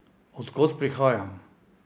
Od kod prihajam?